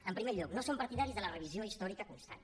en primer lloc no som partidaris de la revisió històrica constant